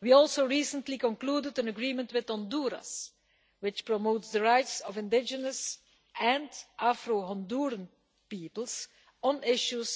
We also recently concluded an agreement with Honduras which promotes the rights of indigenous and Afro Honduran peoples on issues